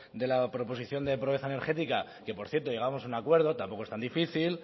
de la proposición de pobreza energética que por cierto llegamos a un acuerdo tampoco es tan difícil